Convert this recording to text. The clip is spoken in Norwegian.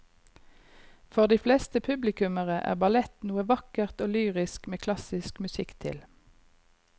For de fleste publikummere er ballett noe vakkert og lyrisk med klassisk musikk til.